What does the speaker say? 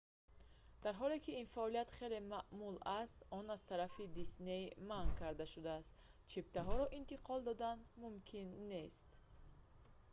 дар ҳоле ки ин фаъолият хеле маъмул аст он аз тарафи дисней манъ карда шудааст чиптаҳоро интиқол додан мумкин нест